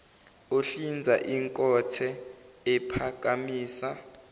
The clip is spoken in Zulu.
ohlinza inkothe ephakamisa